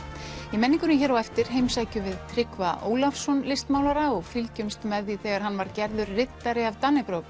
í menningunni hér á eftir heimsækjum við Tryggva Ólafsson listmálara og fylgjumst með því þegar hann var gerður riddari af